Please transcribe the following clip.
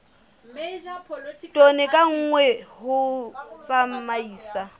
tone ka nngwe ho tsamaisa